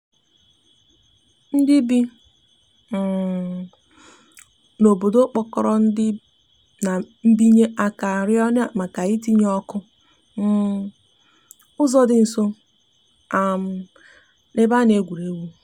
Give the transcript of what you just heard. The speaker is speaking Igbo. ndi bi um n'obodo kpokoro ndi na mbinye aka rio ha maka ị tinye ọkụ um n'uzo di nso um n'ebe ana egwuregwu.